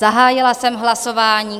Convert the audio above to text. Zahájila jsem hlasování.